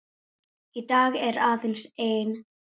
Í dag er aðeins ein.